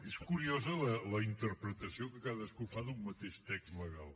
és curiosa la interpretació que cadascú fa d’un mateix text legal